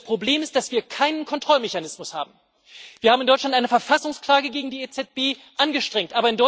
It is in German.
Und das Problem ist, dass wir keinen Kontrollmechanismus haben. Wir haben in Deutschland eine Verfassungsklage gegen die EZB angestrengt.